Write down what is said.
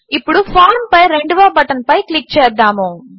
ఇప్పుడు ఫార్మ్ పై రెండవ బటన్పై క్లిక్ చేద్దాము